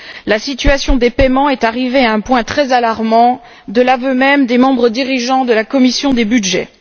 La situation des paiements est arrivée à un point très alarmant, de l'aveu même des membres dirigeants de la commission des budgets.